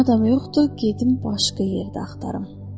Madam yoxdur, gedim başqa yerdə axtarım.